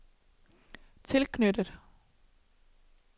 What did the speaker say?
tilknyttet